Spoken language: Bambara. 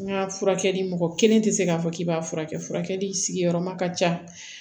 N ka furakɛli mɔgɔ kelen tɛ se k'a fɔ k'i b'a furakɛ furakɛli sigiyɔrɔma ka ca